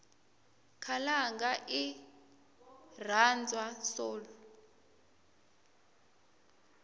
khalanga irhandzwa soul